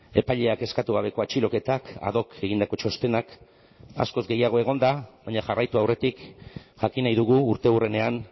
epaileak eskatu gabeko atxiloketak ad hoc egindako txostenak askoz gehiago egon da baina jarraitu aurretik jakin nahi dugu urteurrenean